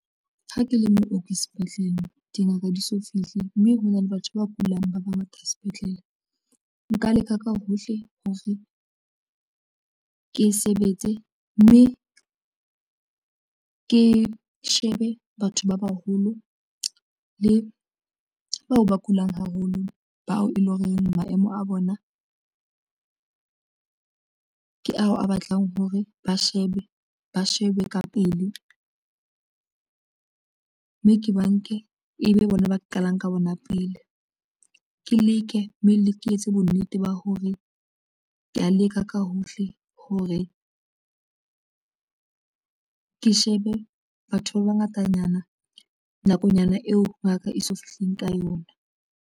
Ha ke le mooki sepetlele dingaka di so fihle mme hona le batho ba kulang ba bangata sepetlele nka leka ka hohle hore ke sebetse mme ke shebe batho ba baholo le bao ba kulang haholo bao e leng hore maemo a bona ke ao a batlang hore ba shebe ba shebe ka pele mme ke ba nke ebe bona ba qalang ka bona pele. Ke leke mme le ke etse bonnete ba hore kea leka ka hohle hore ke shebe batho ba bangatanyana nakonyana eo ngaka e so fihleng ka yona.